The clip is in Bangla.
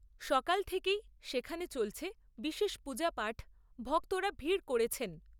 সকাল থেকেই সেখানে চলছে বিশেষ পূজাপাঠ, ভক্তরা ভিড় করেছেন।